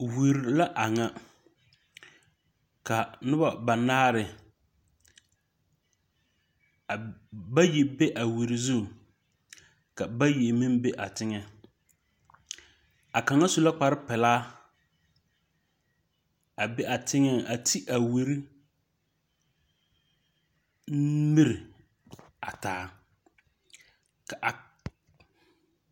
Wire la a ŋa ka noba banaare bayi be a wire zu ka bayi meŋ be a teŋɛŋ a kaŋa su la kparepilaa a be a teŋɛŋ a te a wire miri a taa ka a.